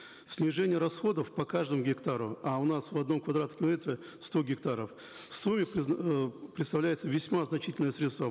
снижение расходов по каждому гектару а у нас в одном квадратном километре сто гектаров в сумме представляются весьма значительные средства